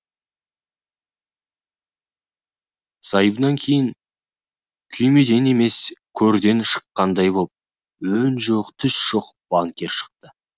зайыбынан кейін күймеден емес көрден шыққандай боп өң жоқ түс жоқ банкир шықты